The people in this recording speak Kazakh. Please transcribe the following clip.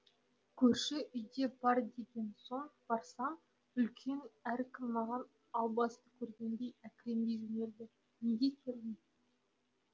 көрші үйде бар деген соң барсам үлкен әркім маған албасты көргендей әкіреңдей жөнелді неге келдің